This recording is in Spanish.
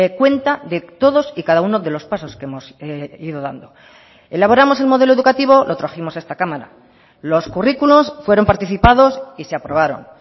cuenta de todos y cada uno de los pasos que hemos ido dando elaboramos el modelo educativo lo trajimos a esta cámara los currículos fueron participados y se aprobaron